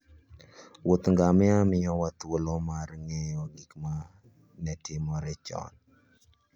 Wuoth ngamia miyowa thuolo mar ng'eyo gik ma ne itimo chon.